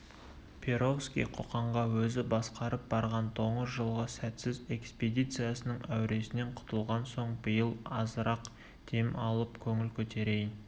перовский қоқанға өзі басқарып барған доңыз жылғы сәтсіз экспедициясының әуресінен құтылған соң биыл азырақ дем алып көңіл көтерейін